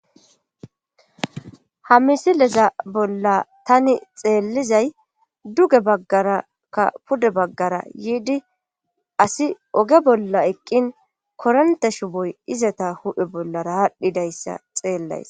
Ha misileza bolla tani xeellizay duge baggarakka pude baggara yiidi asi oge bolla eqqin koronte shuboy izata hudhe bollara haadhdhidayssa xeellays.